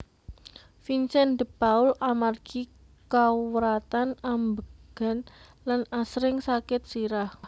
Vincent de Paul amargi kawratan ambegan lan asring sakit sirah